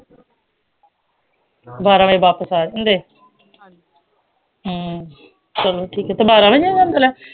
ਬਾਰਾਂ ਵਜੇ ਵਾਪਿਸ ਆ ਜਾਂਦੇ ਹਮ ਚਲੋ ਠੀਕ ਏ ਤੇ ਬਾਰਾਂ ਵਜੇ